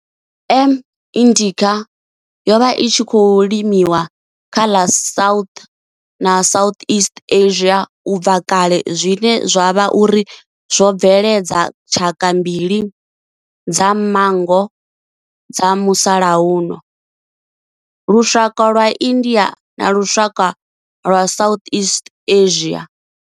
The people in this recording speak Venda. M. indica yo vha i tshi khou limiwa kha ḽa South na Southeast Asia ubva kale zwine zwa vha uri zwo bveledza tshaka mbili dza manngo dza musalauno lushaka lwa India na lushaka lwa Southeast Asia.